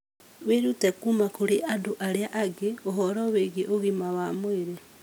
Wĩrute kuuma kũrĩ andũ arĩa angĩ ũhoro wĩgiĩ ũgima mwega wa mwĩrĩ.